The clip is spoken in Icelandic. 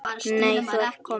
Nei, ert þú kominn?